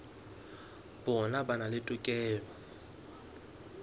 bona ba na le tokelo